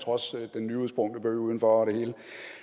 trods den nyudsprungne bøg udenfor og det hele